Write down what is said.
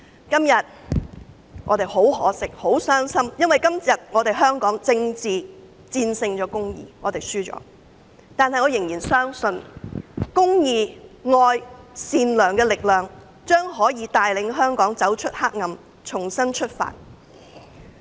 今天，我們感到很可惜、很傷心，因為今天政治戰勝公義，我們輸了，但我仍然相信公義、愛、善良的力量將可帶領香港走出黑暗，重新出發。